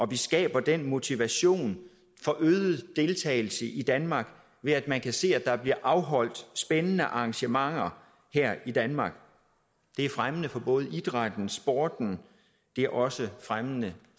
vi skaber den motivation for øget deltagelse i danmark ved at man kan se at der bliver afholdt spændende arrangementer her i danmark det er fremmende for både idrætten og sporten og det er også fremmende